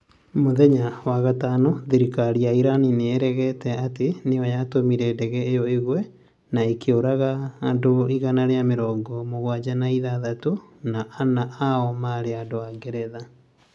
Muthenya wa gatano, thirikari ya Iran nĩ ĩregete atĩ nĩ yo yatũmire ndege ĩyo ĩgwe na ĩkooraga andũ igana ira mirogo mũgwaja na ithathatu, na ana ao maarĩ andũ a Ngeretha.